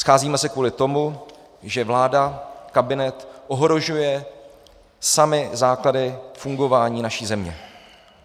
Scházíme se kvůli tomu, že vláda, kabinet ohrožuje samy základy fungování naší země.